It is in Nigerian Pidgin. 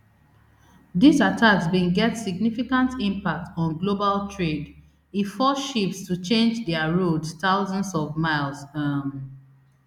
dis attacks bin get significant impact on global trade e force ships to change dia roads thousands of miles um